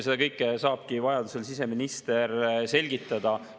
Seda kõike saabki vajadusel siseminister selgitada.